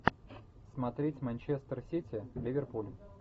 смотреть манчестер сити ливерпуль